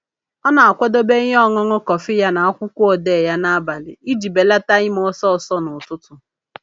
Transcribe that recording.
Ọ na-akwadobe ihe ọṅụṅụ kọfị ya na akwụkwọ odee ya n'abalị iji belata ime ihe ọsọọsọ n'ụtụtụ.